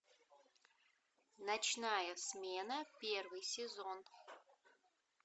ночная смена первый сезон